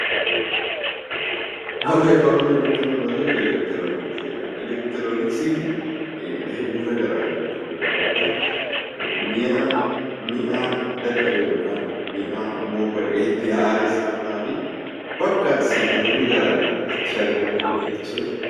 Barreeffamni olitti mul'atu elektirooniksii jedha. Elektirooniksiin gosa adda addaatu jira bakka mi'a moofa'e itti haaressanii fi bakka sibiilonni adda addaa itti argaman jechuudha.